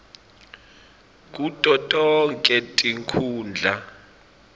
kuto tonkhe tinkhundla